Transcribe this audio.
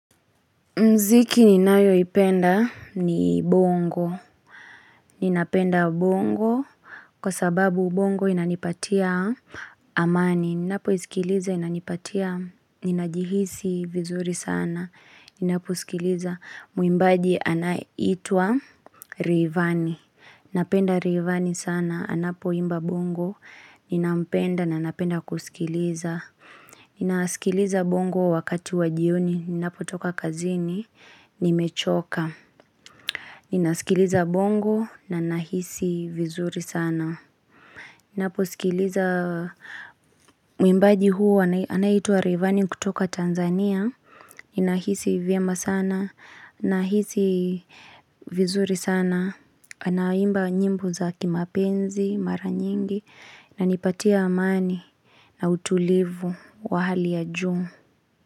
Mziki ninayo ipenda ni bongo. Ninapenda bongo kwa sababu bongo inani patia amani. Ninapo isikiliza inani patia ninajihisi vizuri sana. Ninapo sikiliza muimbaji anaye itwa rayvani. Napenda rayvani sana anapo imba bongo. Nina mpenda na napenda kusikiliza. Ninaskiliza bongo wakati wajioni. Ninapo toka kazini, nimechoka Ninasikiliza bongo na nahisi vizuri sana Ninapo sikiliza mwimbaji huu anaitua Rivani kutoka Tanzania Ninahisi vyema sana, nahisi vizuri sana Anaimba nyimbo za kimapenzi, mara nyingi na inipatia amani na utulivu wa hali ya juu.